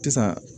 Sisan